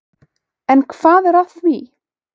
En hvað er að því?